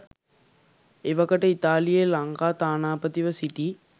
එවකට ඉතාලියේ ලංකා තානාපතිව සිටි